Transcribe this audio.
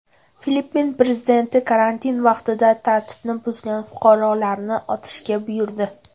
Filippin prezidenti karantin vaqtida tartibni buzgan fuqarolarni otishga buyurdi.